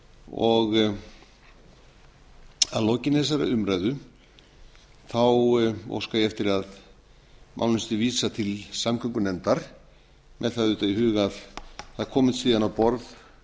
og að lokinni þessari umræðu óska ég eftir að málinu sé vísað til samgöngunefndar með það auðvitað í huga að það komist síðan á borð